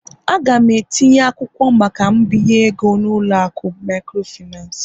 A ga m etinye akwụkwọ maka mbinye ego n'ụlọ akụ microfinance